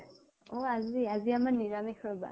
অ আজি? আজি আমাৰ নিৰামিষ ৰবা।